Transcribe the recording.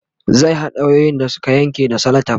zai haɗa wayoyin da Suka Yanke da selotef